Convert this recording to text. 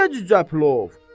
Necə cücə plov?